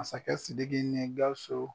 Masakɛ Sidiki ni Gausu.